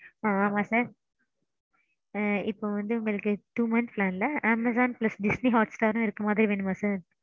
ஆமாம் sir. இப்போ வந்து உங்களுக்கு two months plan Amazon plus Disney Hotstarரும் இருக்குற மாதிரி வேணுமா sir?